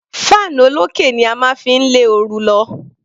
Fan olókè ni a máa ń fi lé oru lọ.